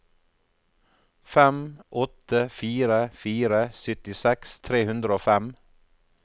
fem åtte fire fire syttiseks tre hundre og fem